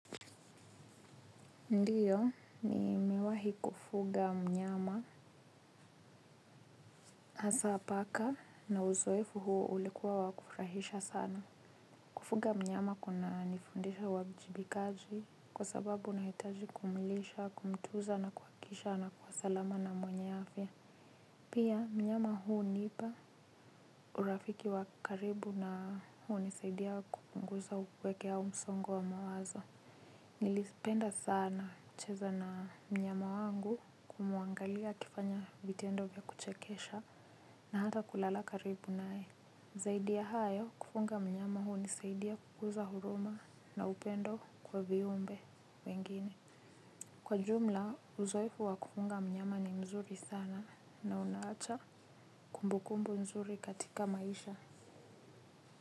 Ndiyo nimewai kufuga mnyama, hasa paka na uzoefu huu ulikuwa wa kurahisha sana. Kufuga mnyama kuna nifundisha uajibikaji, kwa sababu unahitaji kumlisha, kumtunza na kuhakisha anakuwa salama na mwenye afya. Pia mnyama hunipa urafiki wa karibu na hunisaidia kupunguza upweke au msongo wa mawazo. Nilipenda sana kucheza na mnyama wangu, kumwangalia akifanya vitendo vya kuchekesha, na hata kulala karibu naye. Zaidi ya hayo kufuga mnyama hunisaidia, kukuza huruma na upendo kwa viumbe wengine, kwa jumla uzoefu wa kufuga mnyama ni mzuri sana na unaacha kumbukumbu nzuri katika maisha.